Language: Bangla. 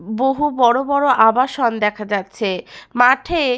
বহু বড় বড় আবাসন দেখা যাচ্ছে মাঠে-এ।